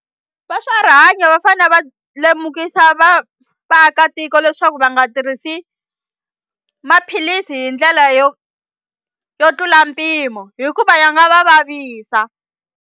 Va swa rihanyo va fane va lemukisa vaakatiko leswaku va nga tirhisi maphilisi hi ndlela yo yo tlula mpimo hikuva ya nga va vavisa.